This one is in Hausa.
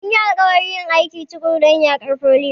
Mun yi alƙawarin yin aiki tuƙuru don yaƙar foliyo.